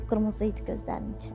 Qıpqırmızı idi gözlərinin içi.